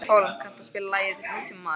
Hólm, kanntu að spila lagið „Nútímamaður“?